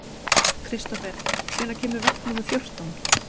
Kristofer, hvenær kemur vagn númer fjórtán?